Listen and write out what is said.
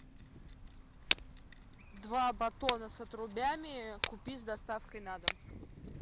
два батона с отрубями купить с доставкой на дом